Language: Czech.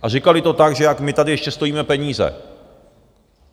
A říkali to tak, že jak my tady ještě stojíme peníze.